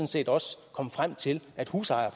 set også komme frem til at husejere